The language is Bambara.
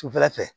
Sufɛla fɛ